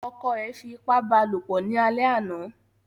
Ọkọ̀ ẹ fi ipá ba lopọ̀ ni àlè àná